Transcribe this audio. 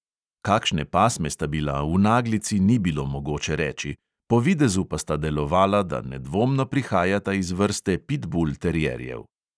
Kakšne pasme sta bila, v naglici ni bilo mogoče reči, po videzu pa sta delovala, da nedvomno prihajata iz vrste pitbul terierjev.